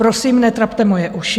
Prosím, netrapte moje uši.